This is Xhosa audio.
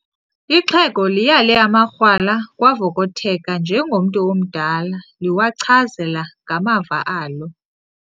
Ixhego liyale amakrwala kwavokotheka njengomntu omdala liwancazela ngamava alo.